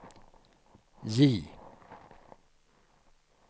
J